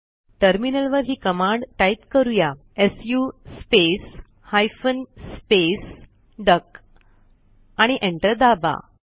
टर्मिनलवर ही command type करूयाsu स्पेस हायफेन स्पेस डक आणि एंटर दाबा